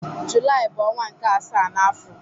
Julaị bu onwa nke asaa n'afo.